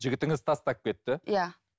жігітіңіз тастап кетті иә